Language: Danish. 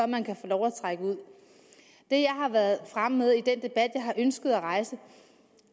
man kan få lov at trække ud det jeg har været fremme med i den debat jeg har ønsket at rejse